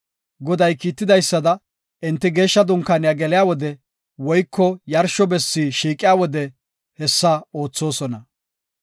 Goday kiitidaysada, enti Geeshsha Dunkaaniya geliya wode woyko yarsho bessi shiiqiya wode hessa oothosona.